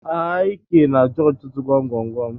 Ik na-ajụ ọtụtụ gwam gwam gwam.